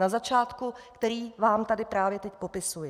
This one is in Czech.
Na začátku, který vám tady právě teď popisuji.